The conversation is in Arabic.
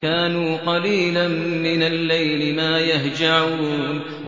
كَانُوا قَلِيلًا مِّنَ اللَّيْلِ مَا يَهْجَعُونَ